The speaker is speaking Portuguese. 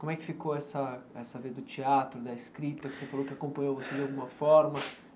Como é que ficou essa essa do teatro, da escrita, que você falou que acompanhou você de alguma forma?